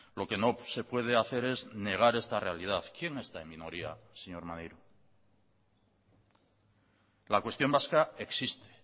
lo que no se puede hacer es negar esta realidad quién está en minoría señor maneiro la cuestión vasca existe